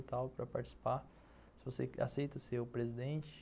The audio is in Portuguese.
E tal para participar, você aceita ser o presidente?